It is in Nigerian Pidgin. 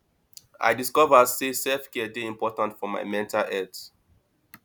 i discover say selfcare dey important for my mental health